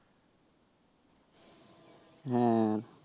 হ্যাঁ,